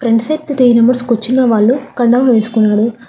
Front seat లో three members కూర్చున్న వాళ్ళు కండం వేసుకున్నారు.